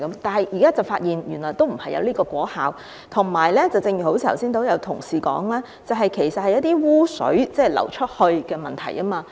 但現在卻發現沒有這個果效，而且正如剛才有同事指出，其實這是污水流出的問題。